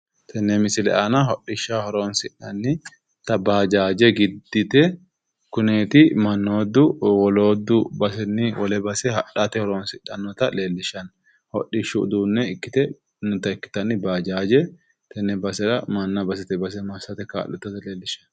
Tenne misile aana hodhishshaho horonsi'nannita baajaaja giddite kuneeti mannootu woloodu basenni wole base hadhate horonsidhannota leellishshanno . Hidhishshu uduunne ikkite manna basetee base kaa'liatnnota leellishshannota